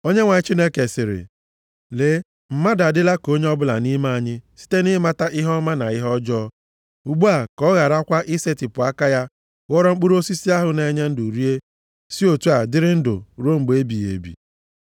Onyenwe anyị Chineke sịrị, “Lee, mmadụ adịla ka onye ọbụla nʼime anyị site nʼịmata ihe ọma na ihe ọjọọ. Ugbu a, ka ọ gharakwa ị setịpụ aka ya ghọrọ mkpụrụ osisi ahụ na-enye ndụ rie, si otu a dịrị ndụ ruo mgbe ebighị ebi.”